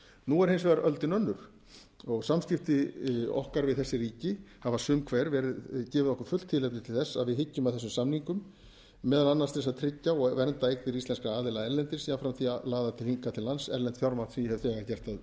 nú er hins vegar öldin önnur og samskipti okkar við þessi ríki hafa sum hver gefið okkur fullt tilefni til þess að við hyggjum að þessum samningum meðal annars til þess að tryggja og vernda eignir íslenskra aðila erlendis jafnframt því að laða hingað til lands erlent fjármagn sem ég hef þegar gert að